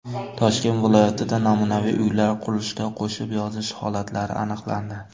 Toshkent viloyatida namunaviy uylar qurilishida qo‘shib yozish holatlari aniqlandi.